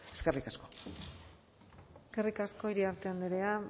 eskerrik asko eskerrik asko iriarte andrea